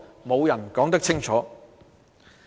沒有人可以說清楚。